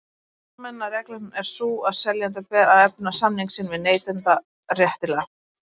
Almenna reglan er sú að seljanda ber að efna samning sinn við neytanda réttilega.